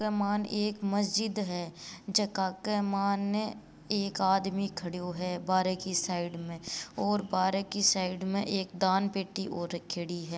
इक मायन एक मस्जिद है जका के मायने एक आदमी खड़यो है बाहरे की साइड में और बाहरे की साइड में एक दान पेटी और रखयोड़ी है।